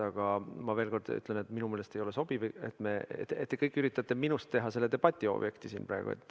Aga veel kord ütlen, et minu meelest ei ole sobiv, et te kõik üritate minust teha selle debati objekti siin praegu.